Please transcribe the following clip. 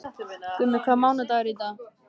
Gummi, hvaða mánaðardagur er í dag?